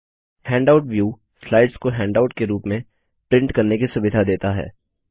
handout view slides को handout के रूप में प्रिंट करने की सुविधा देता है